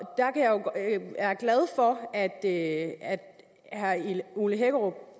er glad for at herre ole hækkerup